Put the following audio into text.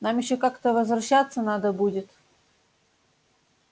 нам ещё как-то возвращаться надо будет